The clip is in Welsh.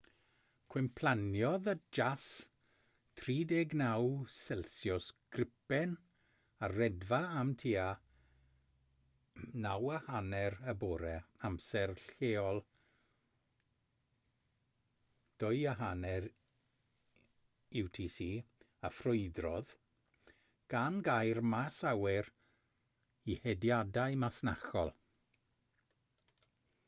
cwymplaniodd y jas 39c gripen ar redfa am tua 9.30 y bore amser lleol 0230 utc a ffrwydrodd gan gau'r maes awyr i hediadau masnachol